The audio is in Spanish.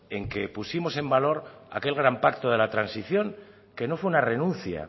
en que pusimos en valor aquel gran pacto de la transición que no fue una renuncia